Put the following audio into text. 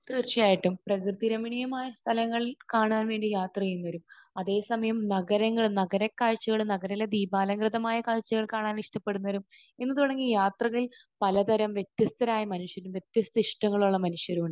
തീർച്ചയായിട്ടും. പ്രകൃതിരമണീയമായ സ്ഥലങ്ങളൾ കാണാൻ വേണ്ടി യാത്ര ചെയ്യുന്നവരും അതെ സമയം നഗരങ്ങൾ നഗരക്കാഴ്ചകൾ നഗരത്തിലെ ദീപാലൻകൃതമായ കാഴ്ചകൾ കാണാൻ ഇഷ്ടപ്പെടുന്നവരും എന്ന് തുടങ്ങി യാത്രകളിൽ പല തരം വ്യത്യസ്തരായ മനുഷ്യരും വ്യത്യസ്ത ഇഷ്ടങ്ങളുള്ള മനുഷ്യരും